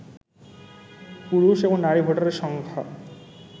পুরুষ এবং নারী ভোটারের সংখ্যা